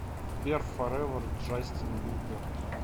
сбер форевер джастин бибер